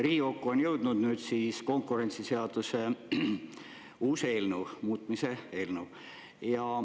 Riigikokku on jõudnud nüüd uus konkurentsiseaduse muutmise eelnõu.